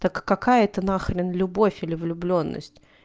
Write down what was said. так а какая это на хрен любовь или влюблённость